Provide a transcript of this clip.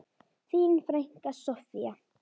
Þín frænka, Soffía.